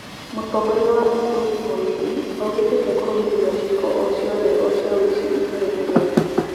Mũtongoria wa ũtũrũki Mũrĩithi augete ndĩkũmĩrĩria cieko o ciothe o cia uici itũrainĩ riake